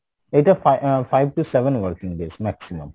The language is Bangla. এটা ফাই ah five to seven working days maximum।